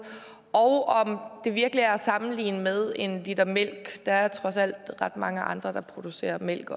og om det virkelig er at sammenligne med at købe en liter mælk der er trods alt ret mange andre der også producerer mælk